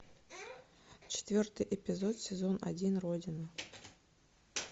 четвертый эпизод сезон один родина